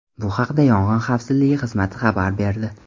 Bu haqda Yong‘in xavfsizligi xizmati xabar berdi .